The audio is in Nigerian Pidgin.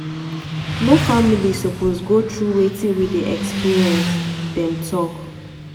"no family suppose go through wetin we dey experience" dem tok.